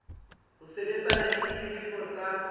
ho sebetsana le ditletlebo tsa